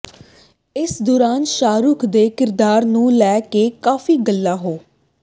ਇਸ ਦੌਰਾਨ ਸ਼ਾਹਰੁਖ਼ ਦੇ ਕਿਰਦਾਰ ਨੂੰ ਲੈ ਕੇ ਕਾਫ਼ੀ ਗੱਲਾਂ ਹੋ